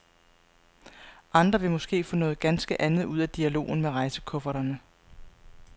Andre vil måske få noget ganske andet ud af dialogen med rejsekufferterne.